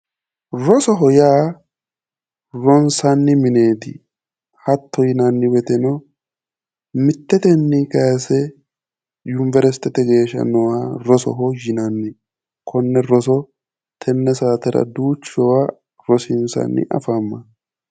Rosoho yaa ronisanni mineeti hatto yinanni woyiteno mitetenni kayise univerisitete geesha nooha rosoho yinanni konne roso tenne saatera duuchawa rosiinisanno afamawo